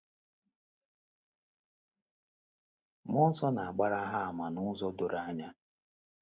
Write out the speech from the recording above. Mmụọ nsọ na - agbara ha àmà n’ụzọ doro anya.